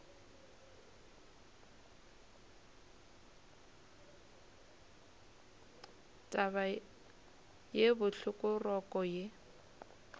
taba ye bohloko roko ye